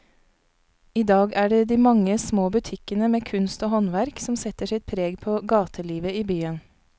I dag er det de mange små butikkene med kunst og håndverk som setter sitt preg på gatelivet i byen.